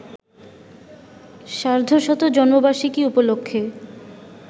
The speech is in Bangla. সার্ধশত জন্মবার্ষিকী উপলক্ষে